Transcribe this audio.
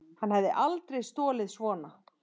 Hann hefði aldrei stolið svona.